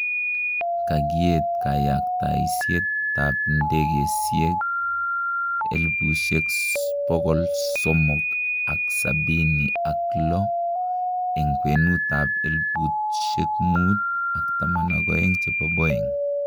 Kagiet kayaktaisiet ap indegeisieg 376 en kwenutap 5,012 chepo Boeng